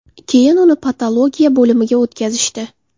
Keyin uni patologiya bo‘limiga o‘tkazishdi.